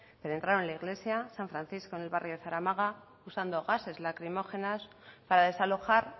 entraron en la iglesia san francisco en el barrio de zaramaga usando gases lacrimógenos para desalojar